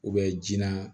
ji na